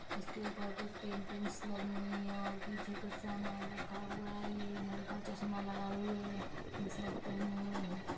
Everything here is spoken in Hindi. उसके ऊपर कुछ पेंटिंग्स लगी हुई हैं और पीछे कुछ सामान रखा हुआ है ये लड़का चस्मा लगाए हुए टीशर्ट पेहने हुए है।